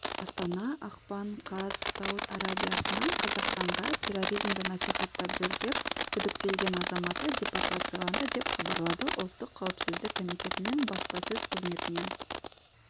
астана ақпан қаз сауд арабиясынан қазақстанға терроризмді насихаттап жүр деп күдіктелген азаматы депортацияланды деп хабарлады ұлттық қауіпсіздік комитетінің баспасөз қызметінен